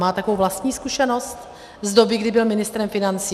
Má takovou vlastní zkušenost z doby, kdy byl ministrem financí?